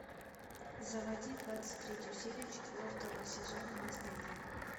заводи двадцать третью серию четвертого сезона наследие